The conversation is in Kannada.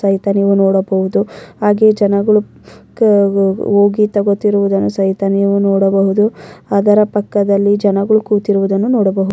ರೈತ ನೀವು ನೋಡಬಹುದು ಹಾಗೆ ಜನಗಳು ಹೋಗಿ ತಗೋತಿರುವುದನ್ನು ಸಹಿತ ನೀವು ನೋಡಬಹುದು ಅದರ ಪಕ್ಕದಲ್ಲಿ ಜನಗಳು ಕೂತಿರುವುದನ್ನು ನೋಡಬಹುದು-